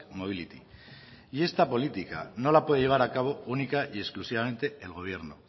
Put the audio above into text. mobility y esta política no la puede llevar a cabo única y exclusivamente el gobierno